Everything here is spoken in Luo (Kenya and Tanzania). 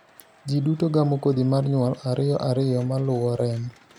ji duto gamo kodhi mar nyuol ariyo ariyo maluwo remo